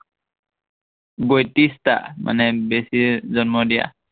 বৈত্ৰিশটা, মানে বেছিয়ে জন্ম দিয়া।